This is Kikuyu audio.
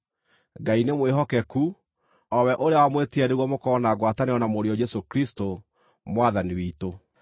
Ngai nĩ mwĩhokeku, o we ũrĩa wamwĩtire nĩguo mũkorwo na ngwatanĩro na Mũriũ Jesũ Kristũ, Mwathani witũ.